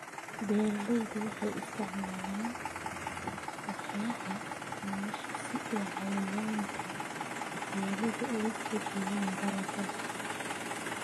Beeraleydu waxay isticmaalaan walxaha noolaha si ay cayayaanka waxyeellada leh uga fogeeyaan dalagga.